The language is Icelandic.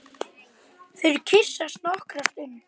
Þau kyssast nokkra stund.